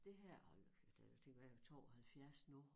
Det her hold nu kæft det er det kan være 72 nu